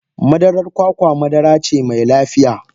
madarar kwakwa madara ce mai lafiya.